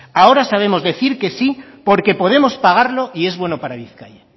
ahora sabemos decir que sí porque podemos pagarlo y es bueno para bizkaia